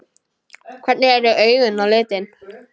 Hvernig eru augun á litinn?